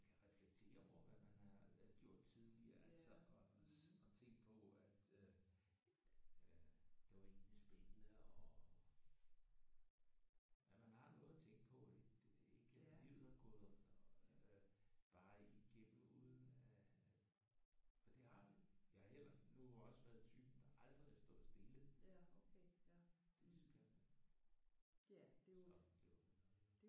Man kan reflektere over hvad man har gjort tidligere altså og tænke på at øh det var egentlig spændende og at man har noget at tænke på. Ikke livet er gået bare igennem uden at og det har det! Jeg har heller nu også været typen der aldrig har stået stille så det er jo